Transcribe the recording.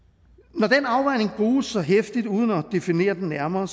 når den afvejning bruges så heftigt uden at man definerer den nærmere